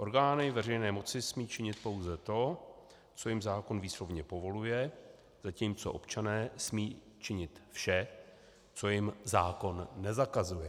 Orgány veřejné moci smí činit pouze to, co jim zákon výslovně povoluje, zatímco občané smí činit vše, co jim zákon nezakazuje.